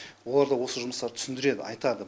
олар да осы жұмыстарды түсіндіреді айтады